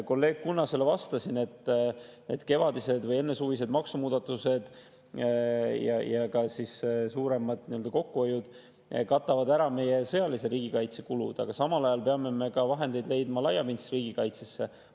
Kolleeg Kunnasele vastasin, et kevadised või ennesuvised maksumuudatused ja suuremad kokkuhoiud katavad ära meie sõjalise riigikaitse kulud, aga samal ajal peame leidma vahendeid ka laiapindsesse riigikaitsesse.